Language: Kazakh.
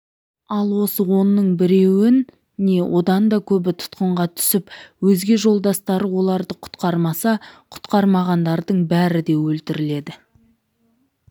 ал осы онның біреуі не одан көбі тұтқынға түсіп өзге жолдастары оларды құтқармаса құтқармағандардың бәрі де өлтіріледі